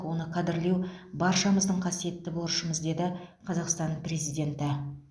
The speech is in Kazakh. оны қадірлеу баршамыздың қасиетті борышымыз деді қазақстан президенті